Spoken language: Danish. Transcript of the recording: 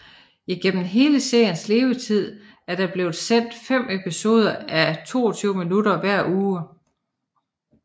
Igennem hele seriens levetid er der blevet sendt fem episoder á 22 minutter hver uge